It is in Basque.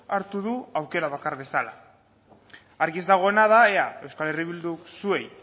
hartu du aukera bakar bezala argi ez dagoena da ea euskal herria bilduk zuei